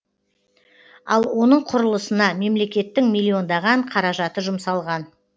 ал оның құрлысына мемлекеттің миллиондаған қаражаты жұмсалған